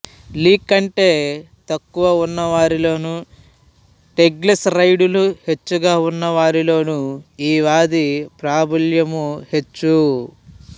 లీ కంటె తక్కువ ఉన్నవారిలోను ట్రైగ్లిసరైడులు హెచ్చుగా ఉన్న వారిలోను ఈ వ్యాధి ప్రాబల్యము హెచ్చు